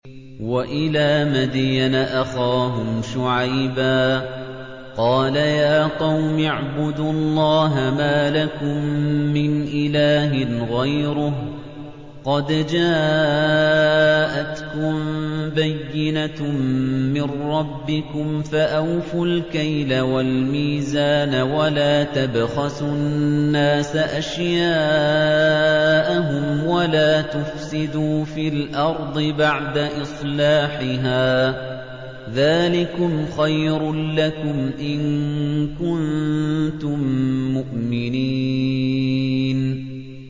وَإِلَىٰ مَدْيَنَ أَخَاهُمْ شُعَيْبًا ۗ قَالَ يَا قَوْمِ اعْبُدُوا اللَّهَ مَا لَكُم مِّنْ إِلَٰهٍ غَيْرُهُ ۖ قَدْ جَاءَتْكُم بَيِّنَةٌ مِّن رَّبِّكُمْ ۖ فَأَوْفُوا الْكَيْلَ وَالْمِيزَانَ وَلَا تَبْخَسُوا النَّاسَ أَشْيَاءَهُمْ وَلَا تُفْسِدُوا فِي الْأَرْضِ بَعْدَ إِصْلَاحِهَا ۚ ذَٰلِكُمْ خَيْرٌ لَّكُمْ إِن كُنتُم مُّؤْمِنِينَ